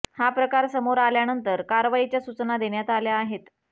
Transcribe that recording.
हा प्रकार समोर आल्यानंतर कारवाईच्या सुचना देण्यात आल्या आहेत